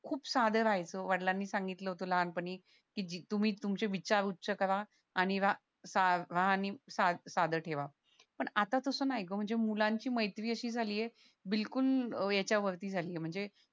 खूप साधे राहायचो वडलांनी सांगितलं होत लहानपणी की तुम्ही तुमचे विचार उच्य करा आणि रा आणि साधं ठेवा पण आता तसं नाय ग म्हणजे मुलांची मैत्री अशी झाले बिलकुल याच्या वरती झाले म्हणजे